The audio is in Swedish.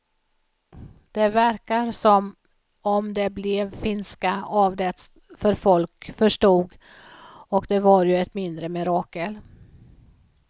Det verkar som om det blev finska av det för folk förstod och det var ju ett mindre mirakel.